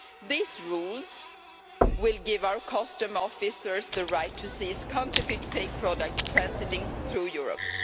These rules will give our customs officers the right to seize counterfeit fake products transiting through Europe.